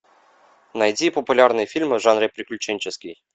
найди популярные фильмы в жанре приключенческий